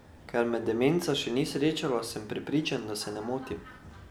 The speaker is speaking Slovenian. Ker me demenca še ni srečala, sem prepričan, da se ne motim.